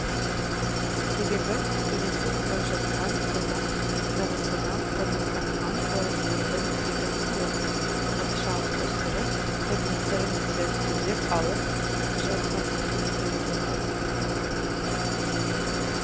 себебі иесіз бос жатқан қазақ даласына қоныстанған орыстардың егін салып бақша өсіріп тұрмыстарын тез түзеп алып жатқандарын көреді ғой